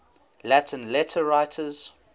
latin letter writers